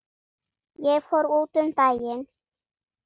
Ég fór út um daginn.